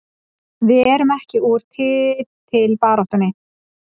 Við erum ekki úr titilbaráttunni